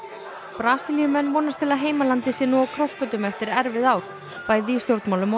Brasilíumenn vonast til að heimalandið sé nú á krossgötum eftir erfið ár bæði í stjórnmálunum og